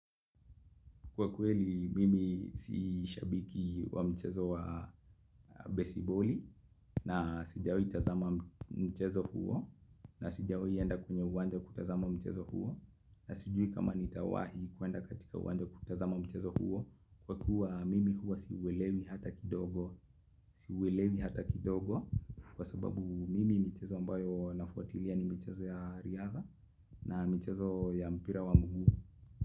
Kwa kweli mimi si shabiki wa mchezo wa besiboli na sijawahi tazama mchezo huo na sijawahi enda kwenye uwanja kutazama mchezo huo na sijui kama nitawahi kuenda katika uwanja kutazama mchezo huo kwa kuwa mimi huo siuwelewi hata kidogo siuwelewi hata kidogo kwa sababu mimi michezo ambayo nafuatilia ni michezo ya riadha na michezo ya mpira wa mguu.